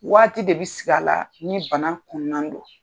Waati de bi sigi a la ni bana kunnan don.